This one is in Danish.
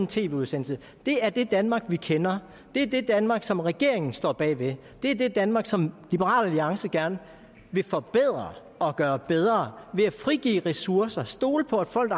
tv udsendelse det er det danmark vi kender det er det danmark som regeringen står bag det er det danmark som liberal alliance gerne vil forbedre og gøre bedre ved at frigive ressourcer og stole på at folk